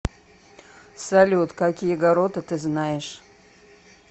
салют какие гаррота ты знаешь